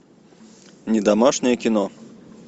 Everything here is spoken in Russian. не домашнее кино